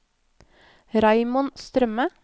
Raymond Strømme